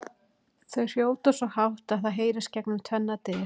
Þau hrjóta svo hátt að það heyrist gegnum tvennar dyr!